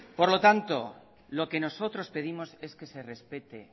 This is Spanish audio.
por lo tanto lo que nosotros pedimos es que se respete